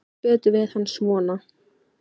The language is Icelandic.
Hún kann betur við hann svona.